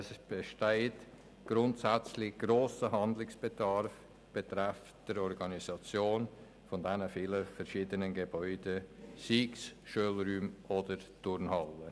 Es besteht grundsätzlich ein grosser Handlungsbedarf betreffend die Organisation der vielen Gebäude, seien es Schulräume oder Turnhallen.